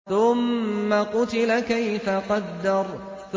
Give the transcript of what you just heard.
ثُمَّ قُتِلَ كَيْفَ قَدَّرَ